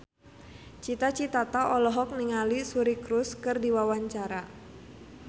Cita Citata olohok ningali Suri Cruise keur diwawancara